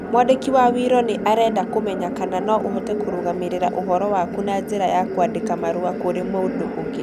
Mwandĩki wa wiro nĩ arenda ũmenye kana no ũhote kũrũgamĩrĩra ũhoro waku na njĩra ya kwandĩka marũa kũrĩ mũndũ ũngĩ.